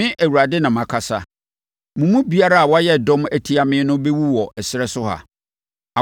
Me, Awurade, na makasa. Mo mu biara a wayɛ dɔm atia me no bɛwu wɔ ɛserɛ so ha.”